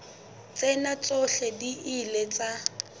tsena tsohle di ile tsa